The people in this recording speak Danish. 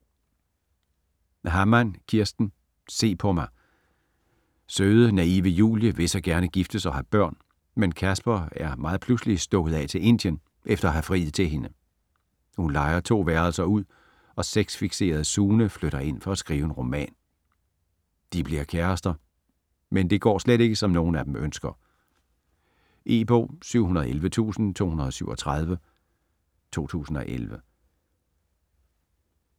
Hammann, Kirsten: Se på mig Søde, naive Julie vil så gerne giftes og have børn, men Casper er meget pludseligt stukket af til Indien efter at have friet til hende. Hun lejer 2 værelser ud, og sex-fikserede Sune flytter ind for at skrive en roman. De bliver kærester, men det går slet ikke som nogen af dem ønsker. E-bog 711237 2011.